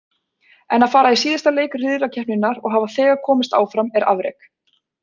En að fara í síðasta leik riðlakeppninnar og hafa þegar komist áfram er afrek.